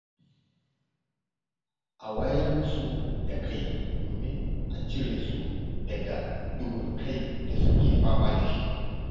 A wayar musu da kai domin a cire su daga duhun kan da suke fama da shi.